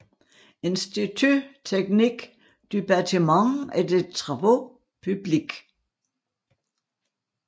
Institut technique du batiment et des travaux publics